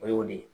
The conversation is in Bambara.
O y'o de